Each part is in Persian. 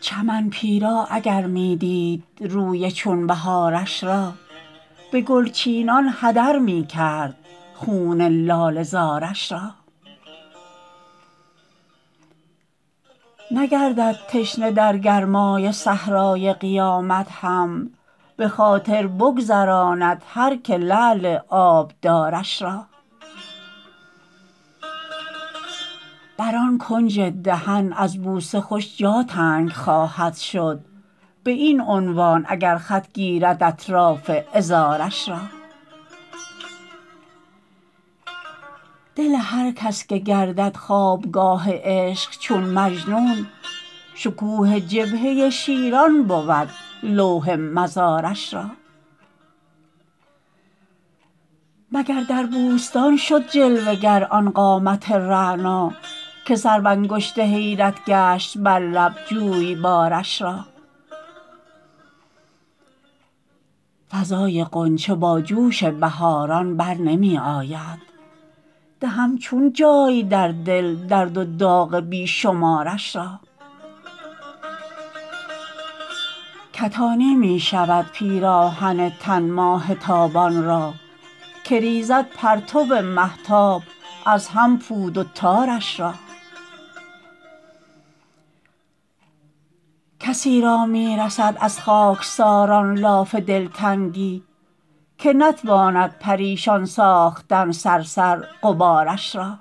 چمن پیرا اگر می دید روی چون بهارش را به گلچینان هدر می کرد خون لاله زارش را نگردد تشنه در گرمای صحرای قیامت هم به خاطر بگذراند هر که لعل آبدارش را بر آن کنج دهن از بوسه خوش جا تنگ خواهد شد به این عنوان اگر خط گیرد اطراف عذارش را دل هر کس که گردد خوابگاه عشق چون مجنون شکوه جبهه شیران بود لوح مزارش را مگر در بوستان شد جلوه گر آن قامت رعنا که سر و انگشت حیرت گشت بر لب جویبارش را فضای غنچه با جوش بهاران برنمی آید دهم چون جای در دل درد و داغ بی شمارش را کتانی می شود پیراهن تن ماه تابان را که ریزد پرتو مهتاب از هم پود و تارش را کسی را می رسد از خاکساران لاف دلتنگی که نتواند پریشان ساختن صرصر غبارش را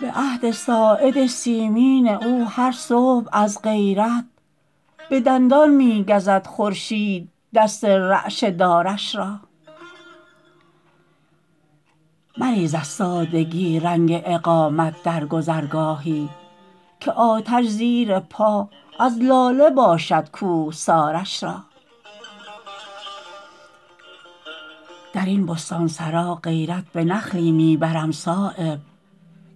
به عهد ساعد سیمین او هر صبح از غیرت به دندان می گزد خورشید دست رعشه دارش را مریز از سادگی رنگ اقامت در گذرگاهی که آتش زیر پا از لاله باشد کوهسارش را درین بستانسرا غیرت به نخلی می برم صایب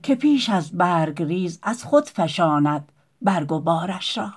که پیش از برگریز از خود فشاند برگ و بارش را